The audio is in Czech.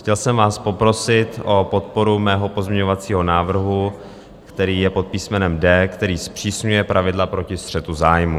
Chtěl jsem vás poprosit o podporu svého pozměňovacího návrhu, který je pod písmenem d, který zpřísňuje pravidla proti střetu zájmů.